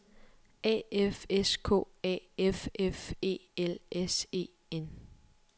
A F S K A F F E L S E N